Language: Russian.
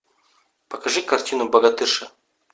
покажи картину богатырша